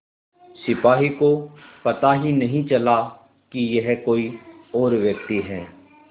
सिपाही को पता ही नहीं चला कि यह कोई और व्यक्ति है